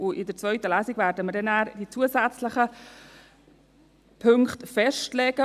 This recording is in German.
In der zweiten Lesung werden wir die zusätzlichen Punkte festlegen.